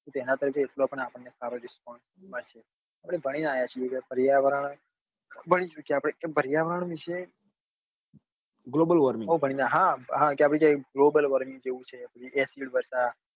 જેના થી એટલો સારો response મળશે અને ભાણી ને આવ્યા છીએ કે પર્યાવરણ વિશે હા હા કે globe warming જેવું છે